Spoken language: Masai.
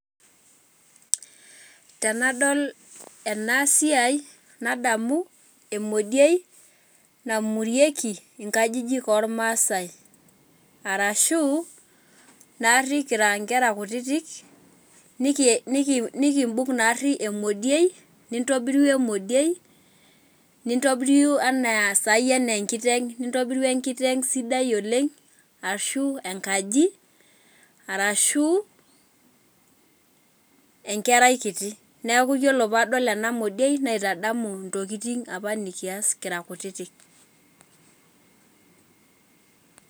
Tenadol ena siai nadamu emodie namorieki nkajijik ormasae, arashu naari kira nkera kutitik nikibung' naari emodie nintobiru emodie nitobiriu enaa sai enkiteng'. Nintobiru enkiteng' sidai oleng' ashu enkaji arashu enkerai kiti. Neeku ore padol enaa modie naitadamu ntokitin apa nikayas kira kutitik.